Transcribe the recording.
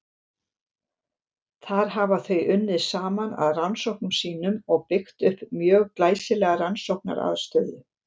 Þar hafa þau unnið saman að rannsóknum sínum og byggt upp mjög glæsilega rannsóknaraðstöðu.